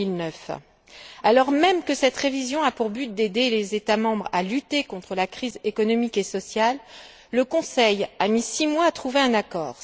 2009. Alors même que cette révision a pour but d'aider les États membres à lutter contre la crise économique et sociale, le Conseil a mis six mois à trouver un accord.